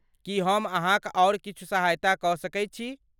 की हम अहाँक आओर किछु सहायता कऽ सकैत छी?